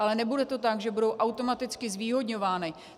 Ale nebude to tak, že budou automaticky zvýhodňovány.